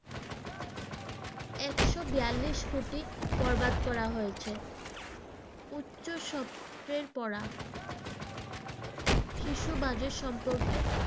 x বিয়ালিশ কোটি বরবাদ করা হয়েছে, উচ্চ পড়া, শিশু budget সম্পর্কে